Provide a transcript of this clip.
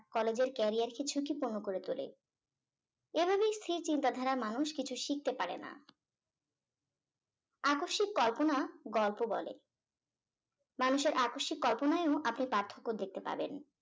college এর carrier কে ঝুঁকিপূর্ণ করে তোলে এভাবেই কিছু স্থির চিন্তা ধারার মানুষ কিছু শিখতে পারেনা আকস্মিক কল্পনা গল্প বলে মানুষের আকস্মিক কল্পনাও আপনি পার্থক্য দেখতে পাবেন